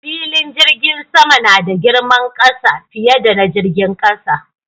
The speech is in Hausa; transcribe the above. Filin jirgin sama nada girman ƙasa, fiye da na jirgin ƙasa